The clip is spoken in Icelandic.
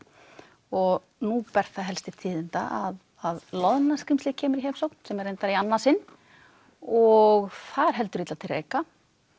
og nú ber það helst til tíðinda að að loðna skrímslið kemur í heimsókn sem er reyndar í annað sinn og það er heldur illa til reika